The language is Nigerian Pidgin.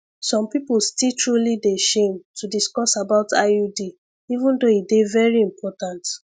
some people still truly dey shame to discuss about iud even though e dey very important